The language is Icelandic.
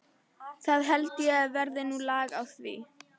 Það held ég verði nú lag á því.